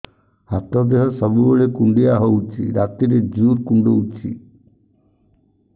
ଦେହ ହାତ ସବୁବେଳେ କୁଣ୍ଡିଆ ହଉଚି ରାତିରେ ଜୁର୍ କୁଣ୍ଡଉଚି